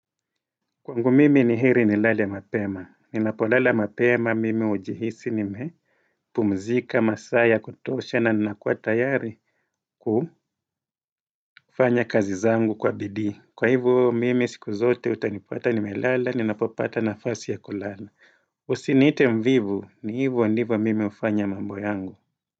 Kwangu mimi ni hire nilale mapema. Ninapo lala mapema mimi ujihisi nimepumzika masaa ya kutosha na ninakua tayari kufanya kazi zangu kwa bidii. Kwa hivyo mimi siku zote utanipuata nimelala ninapopata nafasi ya kulala. Usiniite mvivu ni hivyo ndivyo mimi hufanya mambo yangu.